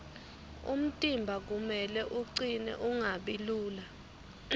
umtimba kumele ucine ungabi lula